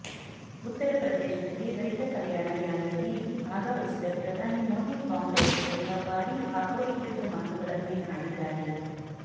ಉತ್ತರ ಪ್ರದೇಶದಲ್ಲಿ ರೈತ ಕಲ್ಯಾಣ ರ್ಯಾಲಿಯಲ್ಲಿ ಭಾಗವಹಿಸಿದ ಪ್ರಧಾನಿ ಮೋದಿ ಕಾಂಗ್ರೆಸ್ ವಿರುದ್ಧ ಭಾರೀ ಆಕ್ರೋಶಭರಿತ ಮಾತುಗಳನ್ನೇ ಆಡಿದ್ದಾರೆ